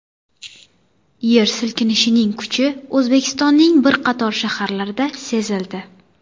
Yer silkinishining kuchi O‘zbekistonning bir qator shaharlarida sezildi.